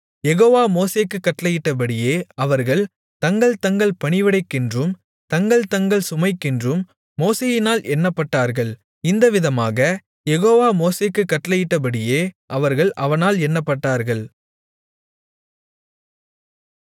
யெகோவா மோசேக்குக் கட்டளையிட்டபடியே அவர்கள் தங்கள் தங்கள் பணிவிடைக்கென்றும் தங்கள் தங்கள் சுமைக்கென்றும் மோசேயினால் எண்ணப்பட்டார்கள் இந்த விதமாக யெகோவா மோசேக்குக் கட்டளையிட்டபடியே அவர்கள் அவனால் எண்ணப்பட்டார்கள்